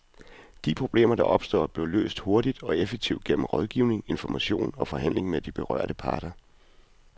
De problemer, der opstår, bliver løst hurtigt og effektivt gennem rådgivning, information og forhandling med de berørte parter.